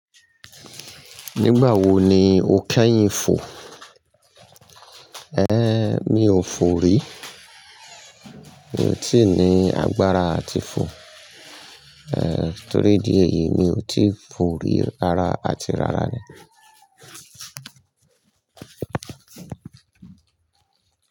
Nígbà wo ni o kẹ́yìn fò? Mi ò fò rí. Mi ò tíì ní agbára àti fò. Torí idí yíi, mi ò tí fò rí, rárá àti rárá ni.